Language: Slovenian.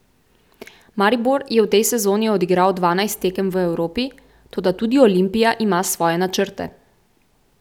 Maribor je v tej sezoni odigral dvanajst tekem v Evropi, toda tudi Olimpija ima svoje načrte.